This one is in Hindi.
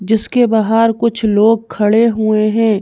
जिसके बाहर कुछ लोग खड़े हुए हैं।